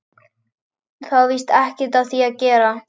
Það er víst ekkert við því að gera.